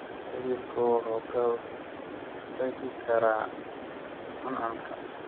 Xididku wuxuu ka hortagi karaa cuncunka.